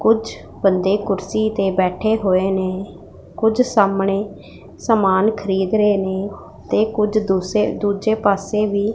ਕੁਝ ਬੰਦੇ ਕੁਰਸੀ ਤੇ ਬੈਠੇ ਹੋਏ ਨੇ ਕੁਝ ਸਾਹਮਣੇ ਸਮਾਨ ਖਰੀਦ ਰਹੇ ਨੇ ਤੇ ਕੁਝ ਸੇ ਦੂਸ ਦੂਜੇ ਪਾਸੇ ਵੀ--